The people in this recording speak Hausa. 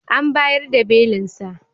An bayar da belinsa.